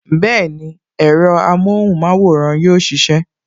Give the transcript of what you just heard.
Bẹẹni, ẹ̀rọ amohun maworan yóò sisẹ